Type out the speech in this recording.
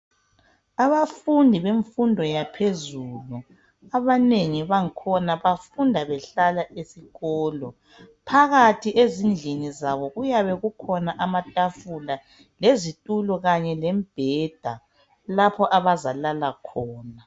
abafundi bemfundo yaphezulu abanengi bangkhona bafunda behlala ezikolo phakathi ezindlini zabo kuyabe kukhona amatafula lezitulo kanye lembheda lapho abazalala khona